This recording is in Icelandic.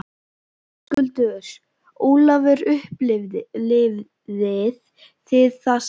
Höskuldur: Ólafur, upplifið þið það sama?